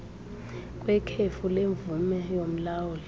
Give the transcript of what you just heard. kwekhefu lemvume yomlawuli